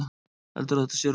Heldurðu að þetta sé rúm?